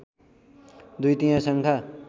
दुई तिहाई सङ्ख्या